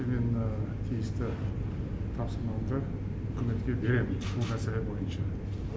мен мына тиісті тапсырмамды үкіметке беремін бұл мәселе бойынша